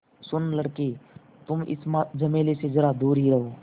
सुनो लड़के तुम इस झमेले से ज़रा दूर ही रहो